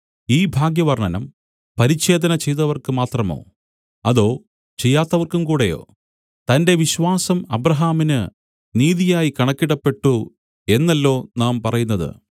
ഈ ഭാഗ്യവർണ്ണനം പരിച്ഛേദന ചെയ്തവർക്ക് മാത്രമോ അതോ ചെയ്യാത്തവർക്കും കൂടെയോ തന്റെ വിശ്വാസം അബ്രാഹാമിന് നീതിയായി കണക്കിടപ്പെട്ടു എന്നല്ലോ നാം പറയുന്നത്